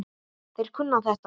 Þeir kunna þetta.